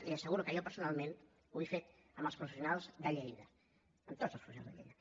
i li asseguro que jo personalment ho he fet amb els professionals de lleida amb tots els professionals de lleida